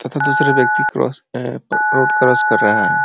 तथा दुसरे व्यक्ति क्रॉस अ रोड क्रॉस कर रहा है।